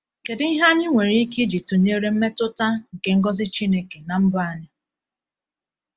Kedu ihe anyị nwere ike iji tụnyere mmetụta nke ngọzi Chineke na mbọ anyị?